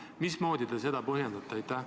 Mismoodi te seda põhjendate?